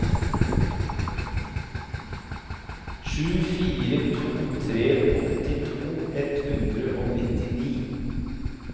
sju fire to tre åttito ett hundre og nittini